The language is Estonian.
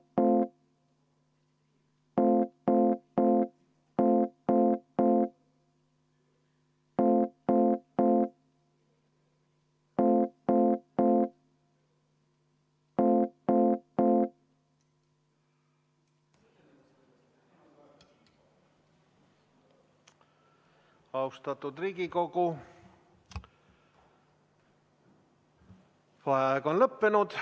V a h e a e g Austatud Riigikogu, vaheaeg on lõppenud.